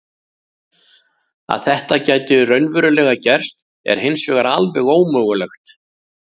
Að þetta gæti raunverulega gerst er hins vegar alveg ómögulegt.